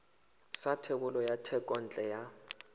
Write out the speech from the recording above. sa thebolo ya thekontle ya